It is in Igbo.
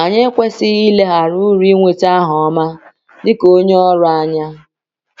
Anyị ekwesịghị ileghara uru ịnweta aha ọma dị ka onye ọrụ anya.